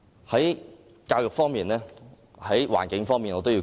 我也要說說環境方面的事宜。